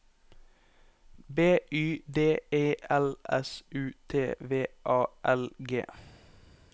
B Y D E L S U T V A L G